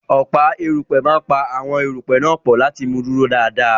Ọ̀pá erùpẹ̀ máa pa àwọn erùpẹ̀ náà pọ̀ láti mú un dúró dáradára.